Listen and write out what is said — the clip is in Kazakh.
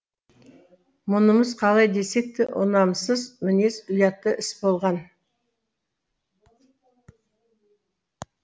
мұнымыз қалай десек те ұнамсыз мінез ұятты іс болған